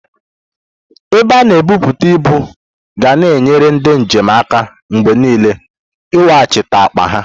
Ebe a na-ebutu ibu ga na enyere ndị njem aka mgbe niile iweghachite akpa ha.